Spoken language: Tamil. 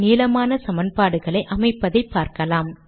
நீளமான சமன்பாடுகளை அமைப்பதை பார்க்கலாம்